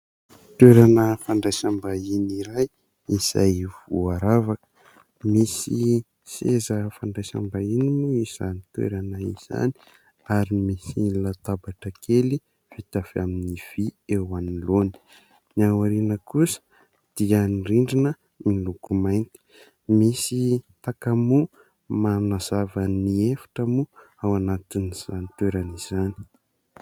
Toerana fandraisam-bahiny iray izay voaravaka. Misy seza fandraisam-bahiny moa izany toerana izany ary misy latabatra kely vita avy amin'ny vy eo anoloany, ny ao aoriana kosa dia ny rindrina miloko mainty, misy takamoa manazava ny efitra moa ao anatin'izany toerana izany.